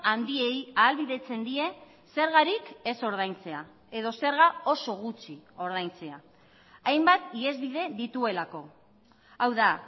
handiei ahalbidetzen die zergarik ez ordaintzea edo zerga oso gutxi ordaintzea hainbat ihesbide dituelako hau da